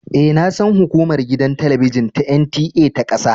E, na san hukumar gidan talabijin ta NTA ta kasa.